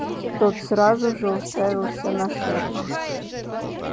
тот сразу же уставился на шефа